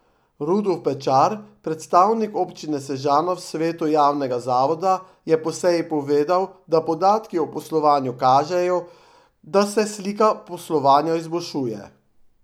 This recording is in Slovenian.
Rudolf Pečar, predstavnik občine Sežana v svetu javnega zavoda, je po seji povedal, da podatki o poslovanju kažejo, da se slika poslovanja izboljšuje.